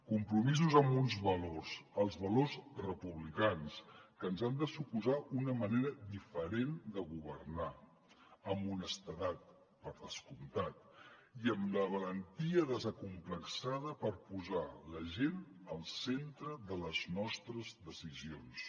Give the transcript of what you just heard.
compromisos amb uns valors els valors republicans que ens han de suposar una manera diferent de governar amb honestedat per descomptat i amb la valentia desacomplexada per posar la gent al centre de les nostres decisions